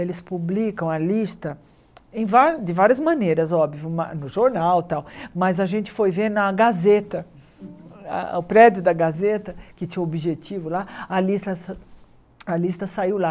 Eles publicam a lista em vá de várias maneiras, óbvio, ma no jornal e tal, mas a gente foi ver na Gazeta, ah ah o prédio da Gazeta, que tinha o objetivo lá, a lista a lista saiu lá.